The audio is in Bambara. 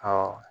Ɔ